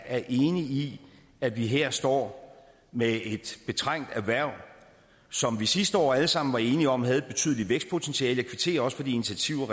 er enig i at vi her står med et betrængt erhverv som vi sidste år alle sammen var enige om havde et betydeligt vækstpotentiale kvitterer også for de initiativer